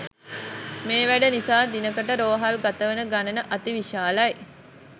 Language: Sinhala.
මේ වැඩ නිසා දිනකට රෝහල් ගතවන ගනන අති විශාලයි.